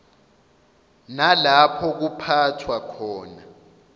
nalapho kuphathwa khona